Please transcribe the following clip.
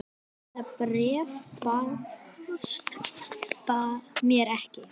Það bréf barst mér ekki!